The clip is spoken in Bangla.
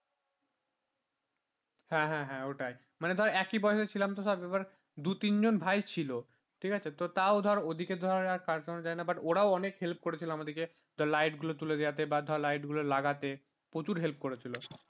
হ্যাঁ হ্যাঁ হ্যাঁ ওটাই মানে ধরে একই বয়সে ছিলাম তো সব এবার দু তিনজন ভাই ছিল ঠিক আছে তো তাও তো ওদের দিয়ে তো ধরার কাজ করানো যায় না but ওরা অনেক help করেছিল আমাদেরকে light গুলো তুলে দেয়াতে বা ধর light গুলো লাগাতে প্রচুর help করেছিল।